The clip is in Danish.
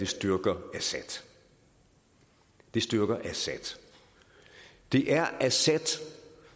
styrker assad det styrker assad det er assad